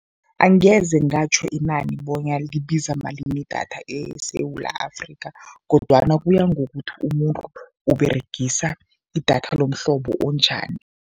Angeze ngatjho inani bonyana libiza malini idatha eSewula Afrika kodwana kuya ngokuthi umuntu Uberegisa idatha lomhlobo onjani.